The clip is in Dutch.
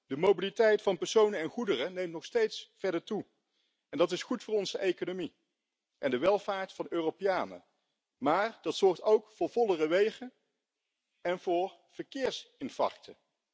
De mobiliteit van personen en goederen neemt nog steeds verder toe en dat is goed voor onze economie en de welvaart van Europeanen, maar dat zorgt ook voor vollere wegen en voor verkeersinfarcten.